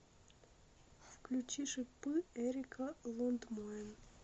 включи шипы эрика лундмоен